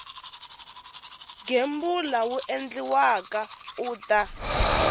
gembula wu endliwaka u ta